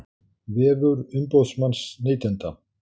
Vefur umboðsmanns neytenda